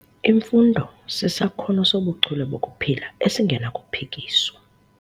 Imfundo sisakhono sobuchule bokuphila esingenakuphikiswa.